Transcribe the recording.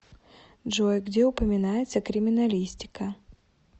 джой где упоминается криминалистика